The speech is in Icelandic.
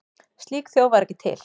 Slík þjóð var ekki til.